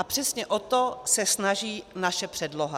A přesně o to se snaží naše předloha.